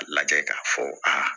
A lajɛ k'a fɔ aa